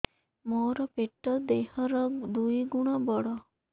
ମୋର ପେଟ ଦେହ ର ଦୁଇ ଗୁଣ ବଡ